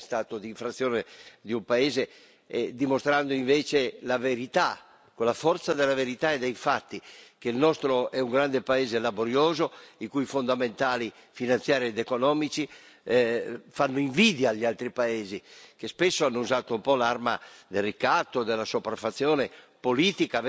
con la forza della verità e dei fatti, che il nostro è un grande paese laborioso, i cui fondamentali finanziari ed economici fanno invidia agli altri paesi, che spesso hanno usato l'arma del ricatto e della sopraffazione politica, avendo a che fare con una classe politica, anche europea, piuttosto assoggettata.